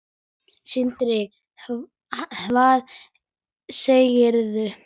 Sindri: Hvað segirðu?